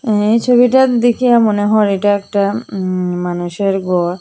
এই ছবিটা দিখে মনে হয় এটা একটা উম মানুষের ঘর।